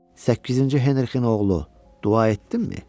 Səkkizinci Henrikin oğlu, dua etdinmi?